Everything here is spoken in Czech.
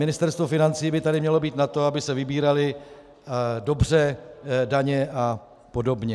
Ministerstvo financí by tady mělo být na to, aby se vybíraly dobře daně a podobně.